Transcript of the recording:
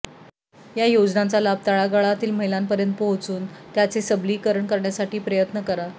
त्या योजनांचा लाभ तळागाळातील महिलांपर्यंत पोहोचून त्यांचे सबलीकरण करण्यासाठी प्रयत्न करा